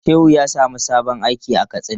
Shehu ya samu sabon aiki a Katsina.